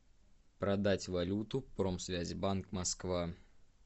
продать валюту промсвязьбанк москва